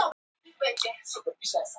Guðmund kaupmann pabba Möggu.